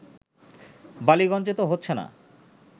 বালিগজ্ঞে তো হচ্ছে না